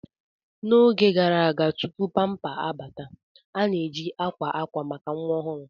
N'oge gara aga tupu pamper abata, a na-eji akwa akwa maka nwa ọhụrụ.